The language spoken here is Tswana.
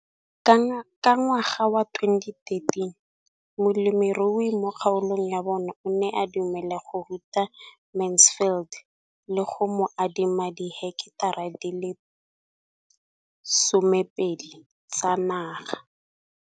Ka ngwaga wa 2013, molemirui mo kgaolong ya bona o ne a dumela go ruta Mansfield le go mo adima di heketara di le 12 tsa naga.